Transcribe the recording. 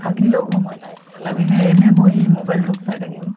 থাকিলেও সময় নাই এহ লাগিলে এনে বহি mobile তোক চাই থাকিব